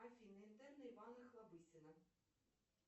афина интерны ивана охлобыстина